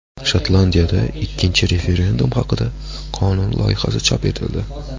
Shotlandiyada ikkinchi referendum haqidagi qonun loyihasi chop etildi.